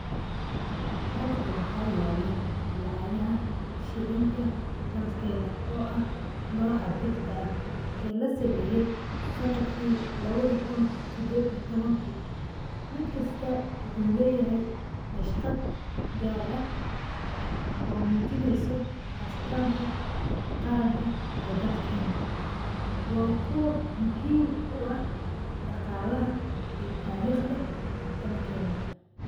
Halkan waxayalah, lacagaha shelinga dalkena. Ah noca birta ah o lasameeye sanatki 2018. Midkasta waxu leeyahay bashqat gar aah oo mujineysoh astanta qaranka ee dalkena, wa kuwa muhim u ah daqalaha ee tarqda dalkena.